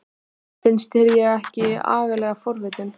Finnst þér ég ekki agalega forvitin?